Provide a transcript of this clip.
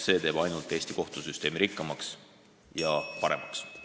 See teeb Eesti kohtusüsteemi ainult rikkamaks ja paremaks.